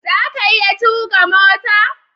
zaka iya tuƙa mota?